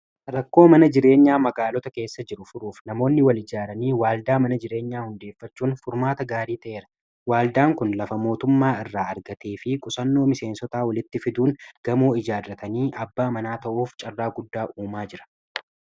Rakkoo mana jireenyaa magaalota keessa jiru furuuf namoonni wal ijaaranii waaldaa mana jireenyaa hundeeffachuun furmaata gaarii ta'eera . Waaldaan kun lafa mootummaa irraa argatee fi qusannoo miseensota walitti fiduun gamoo ijaarratanii abbaa manaa ta'uuf carraa guddaa uumaa jira.